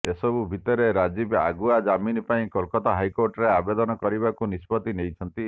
ଏସବୁ ଭିତରେ ରାଜୀବ ଆଗୁଆ ଜାମିନ ପାଇଁ କୋଲକାତା ହାଇକୋର୍ଟରେ ଆବେଦନ କରିବାକୁ ନିଷ୍ପତି ନେଇଛନ୍ତି